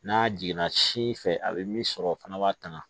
N'a jiginna sin fɛ a bɛ min sɔrɔ o fana b'a tanga